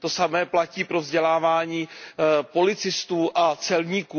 To samé platí pro vzdělávání policistů a celníků.